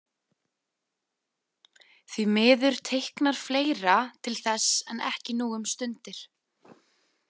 Því miður teiknar fleira til þess en ekki nú um stundir.